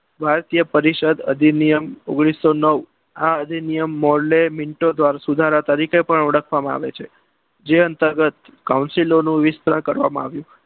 ભારતીય પરિષદ અધિનિયમ ઓગણીસો નવ આ અધિનિયમ મોર્લે મિન્ટો દ્વારા તરીકે પણ ઓળખવામાં આવે છે. જે અંતર્ગત counsilo નું વિસ્તરણ કરવામાં આવ્યું.